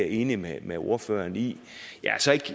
enig med med ordføreren i jeg er så ikke